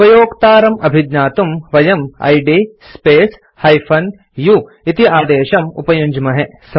उपयोक्तारं अभिज्ञातुं वयम् id space - u इति आदेशं उपयुञ्ज्महे